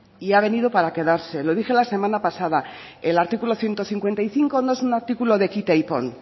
y ha venido para quedarse lo dije la semana pasada el artículo ciento cincuenta y cinco no es un artículo de quita y pon